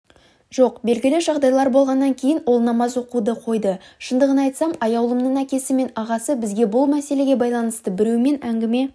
жоқ белгілі жағдайлар болғаннан кейін ол намаз оқуды қойды шындығын айтсам аяулымның әкесі мен ағасы бізге бұл мәселеге байланысты біреумен әңгіме